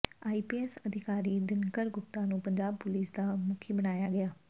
IPS ਅਧਿਕਾਰੀ ਦਿਨਕਰ ਗੁਪਤਾ ਨੂੰ Punjab police ਦਾ ਮੁਖੀ ਬਣਾਇਆ ਗਿਆ